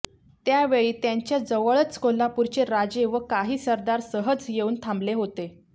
त्या वेळी त्यांच्याजवळच कोल्हापूरचे राजे व काही सरदार सहज येऊन थांबले होते